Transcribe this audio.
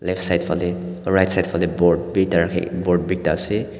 left side phale right side phale boat bi ekta rakhi boat be ekta ase.